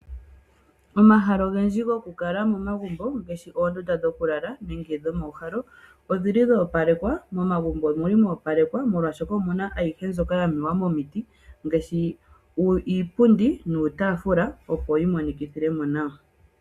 Omahala ogendji gokukala momagumbo ngaashi oondunda dhokulala nenge dhokuuhala odhili dho opalekwa .Momagumbo omuli mo opalekwa moshaashoka omuna ayihe mbyoka ya mewa momiti ngaashi iipundi nuutaafula opo yi monikithemo nawa.